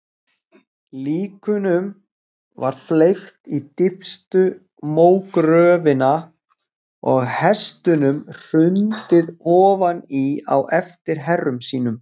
Líkunum var fleygt í dýpstu mógröfina og hestunum hrundið ofan í á eftir herrum sínum.